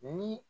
Ni